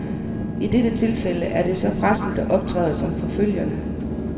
I dette tilfælde er det så pressen, der optræder som forfølgerne.